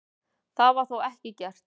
Það var þó ekki gert.